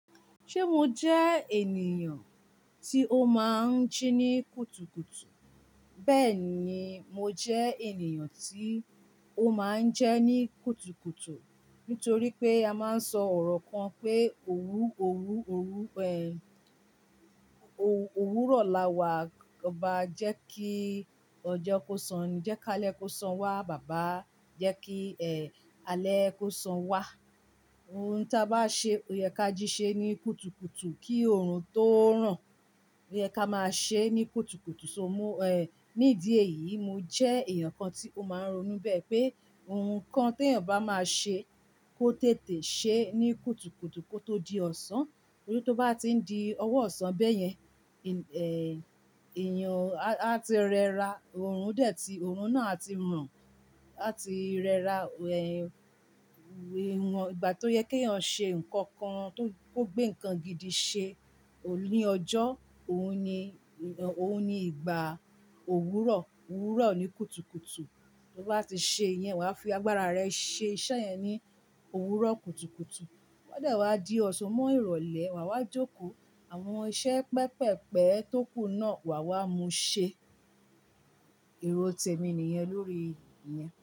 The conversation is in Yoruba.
Ṣé mo jẹ́ ènìyàn tí ó máa ń jí ní kùtùkùtù? Bẹ́ẹ̀ ni, mo jẹ́ ènìyàn tí ó máa ń ji ní kùtùkùtù. Nítorí pé, a máa ń sọ ọ̀rọ̀ kan pé òwúrọ̀ lawàá obá jẹ́ kí ọjọ́ kó sani, jẹ́ kále ko san wá baba, jẹ́ kí alẹ́ kó san wá. Ohun ta a bá ṣe, ò yẹ ká jí ṣe ní kùtùkùtù kí oorun tó ràn. Ó yẹ ká máa ṣe ní kùtùkùtù. Ní dí èyí, mo jẹ́ èèyàn kan tí ó máa ń ronú bẹ́ẹ̀, pé ohun kan tí èèyàn bá máa ṣe, kó tètè ṣe ní kùtùkùtù kó tó di ọ̀sán. Tori tó bá ti ń di ọwọ́ ọ̀sán bẹ́yẹn, á ti rẹra, oorun náà ti ran. A ti rẹra, ìgbà tó yẹ kí èèyàn ṣe nǹkan kan, tó gbé nǹkan gidi ṣe ó ní ọjọ́, òun ní ìgbà òwúrọ̀. Òwúrọ̀ ni kùtùkùtù. Tó bá ti ṣe iyẹn, wàá fi agbára rẹ iṣẹ́ yẹn ní òwúrọ̀ kùtùkùtù. Ode wá di ọ̀ṣe mọ́ ìrọ̀lẹ́, wàwá jókòó. Àwọn iṣẹ́ pẹpẹ̀pẹ̀ tókù náà wàwá mú ṣe. Èrò tẹ̀mi nìyẹn, lórí iyẹn.